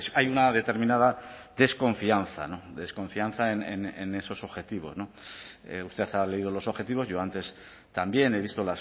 hay una determinada desconfianza desconfianza en esos objetivos usted ha leído los objetivos yo antes también he visto